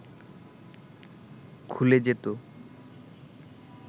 খুলে যেত